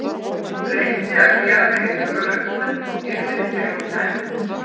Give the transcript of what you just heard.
Reyndi að gera mér í hugarlund hvernig hún yrði þegar hún kæmi.